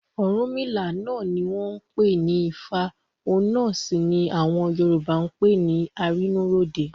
Ọ̀rúnmìlà náà ni wọ́n ń pè ní Ifá òun náà sì ni àwọn Yorùbá ń pè ní Arínúróde.